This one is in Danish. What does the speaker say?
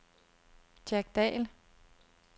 Jack Dall